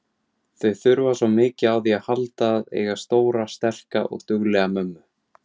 Þau þurfa svo mikið á því að halda að eiga stóra, sterka og duglega mömmu.